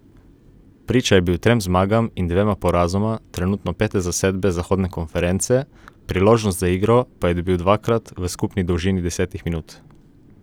Priča je bil trem zmagam in dvema porazoma trenutno pete zasedbe zahodne konference, priložnost za igro pa je dobil dvakrat v skupni dolžini desetih minut.